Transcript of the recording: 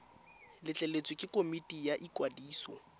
letleletswe ke komiti ya ikwadiso